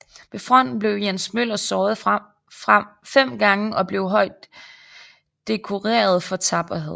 Ved fronten blev Jens Møller såret fem gange og blev højt dekoreret for tapperhed